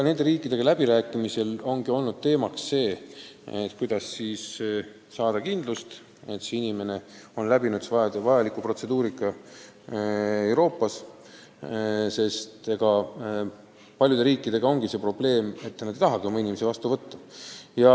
Nende riikidega läbi rääkides ongi olnud teemaks see, kuidas saada kindlust, et inimene on läbinud vajaliku protseduurika Euroopas, sest paljude riikidega on see probleem, et nad ei taha oma inimesi vastu võtta.